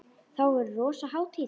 Þá verður rosa hátíð!